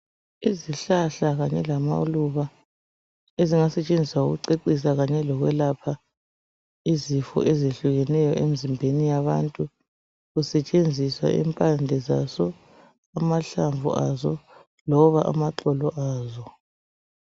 Izihlahla kanye lamaluba, ezingasetshenziswa ukucecisa kanye lokwelapha. Izifo ezehlukeneyo, emzimbeni yabantu. Kusetshenziswa impande zazo, amahlamvu azo. Loba amaxolo azo.